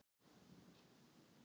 Þetta var rétt fyrir jól.